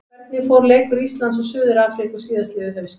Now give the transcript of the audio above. Hvernig fór leikur Íslands og Suður-Afríku síðastliðið haust?